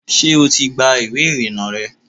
ṣé o ti gba ìwé ìrìnnà rẹ?